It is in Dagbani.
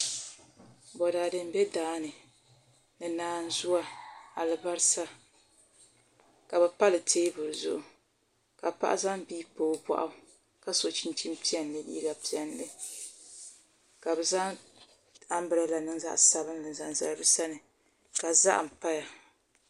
Boraadɛ n bɛ daani ni naanzuwa alibarisa ka bi pali teebuli zuɣu ka paɣa zaŋ bia pa o boɣu ka so chinchin piɛlli ni liiga piɛlli ka bi zaŋ anbirɛla zaɣ saninli n zaŋ zali bi sani ka zaham paya